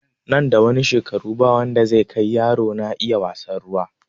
Nan da ɗan shekaru ba wanda zai kai yaro na iya wasan ruwa